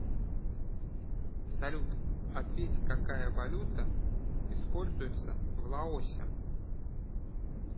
салют ответь какая валюта используется в лаосе